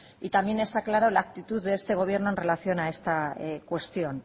y también está claro la actitud de este gobierno en relación a esta cuestión